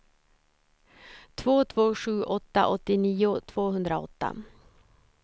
två två sju åtta åttionio tvåhundraåtta